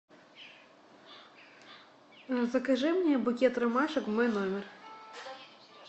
закажи мне букет ромашек в мой номер